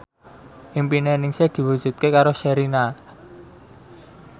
impine Ningsih diwujudke karo Sherina